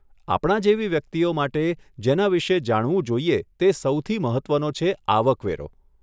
આપણા જેવી વ્યક્તિઓ માટે, જેના વિષે જાણવું જોઈએ તે સૌથી મહત્વનો છે આવક વેરો.